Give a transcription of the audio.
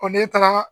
ne taara